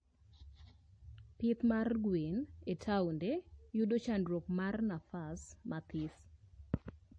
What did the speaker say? Pith mar gwen e taonde yudo chandruok mar nafas mathis